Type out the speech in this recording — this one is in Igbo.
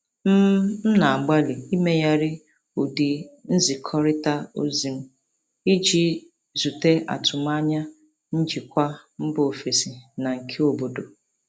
M M na-agbalị imeghari ụdị nzikọrịta ozi m iji zute atụmanya njikwa mba ofesi na nke obodo.